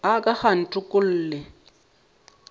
a ka ga a ntokolle